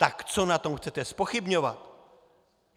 Tak co na tom chcete zpochybňovat?